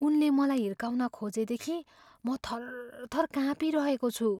उनले मलाई हिर्काउन खोजेदेखि म थरथर काँपिरहेको छु।